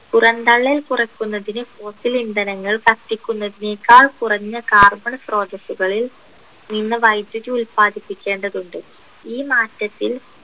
പുറന്തള്ളൽ കുറയ്ക്കുന്നതിന് fossil ഇന്ധനങ്ങൾ കത്തിക്കുന്നതിനേക്കാൾ കുറഞ്ഞ carbon സ്രോതസ്സുകളിൽ നിന്ന് വൈദ്യുതി ഉല്പാദിപ്പിക്കേണ്ടതുണ്ട് ഈ മാറ്റത്തിൽ